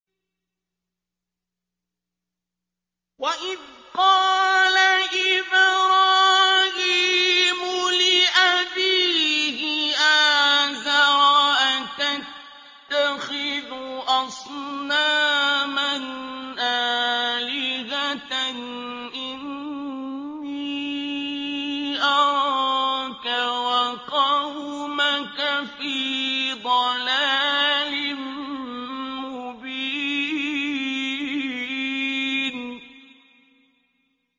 ۞ وَإِذْ قَالَ إِبْرَاهِيمُ لِأَبِيهِ آزَرَ أَتَتَّخِذُ أَصْنَامًا آلِهَةً ۖ إِنِّي أَرَاكَ وَقَوْمَكَ فِي ضَلَالٍ مُّبِينٍ